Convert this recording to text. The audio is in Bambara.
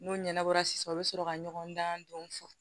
N'o ɲɛnabɔra sisan o be sɔrɔ ka ɲɔgɔndan dɔn fɔ